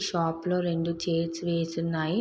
Shop లో రెండు chairs వేసివున్నాయి.